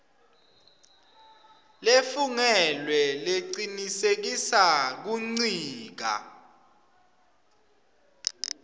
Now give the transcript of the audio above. lefungelwe lecinisekisa kuncika